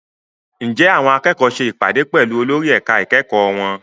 Ǹjẹ́ àwọn akẹ́kọ̀ọ́ ṣe ìpàdé pẹ̀lú olórí ẹ̀ka ìkẹ́kọ̀ọ́ wọn?